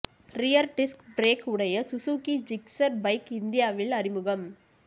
rear disc brake உடைய Suzuki Gixxer bike இந்தியாவில் அறிமுகம்